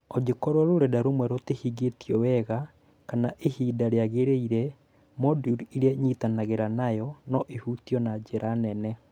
Angĩkorũo rũrenda rũmwe rũtihingĩtio wega kana ihinda rĩagĩrĩire-rĩ, moduli ĩrĩa ĩnyitagĩrĩra nayo no ĩhutio na njĩra nene.